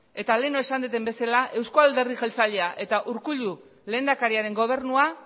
eta lehenago esan dudan bezala euzko alderdi jeltzalea eta urkullu lehendakariaren gobernua